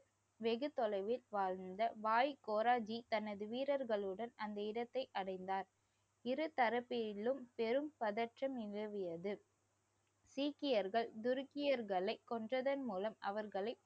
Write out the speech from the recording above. வெகுதொலைவில் வாழ்ந்த வாய்கோராஜி தனது வீரர்களுடன் அந்த இடத்தை அடைந்தார். இருதரப்பினிலும் பெரும் பதற்றம் நிலவியது. சீக்கியர்கள் துருக்கியர்களை கொன்றதன் மூலம் அவர்களை